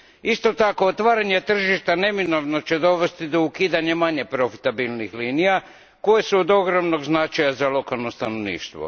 Isto tako otvaranje tržišta neminovno će dovesti do ukidanja manje profitabilnih linija koje su od ogromnog značaja za lokalno stanovništvo.